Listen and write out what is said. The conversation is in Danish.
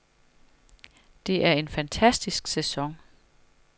Det er en fantastisk sæson.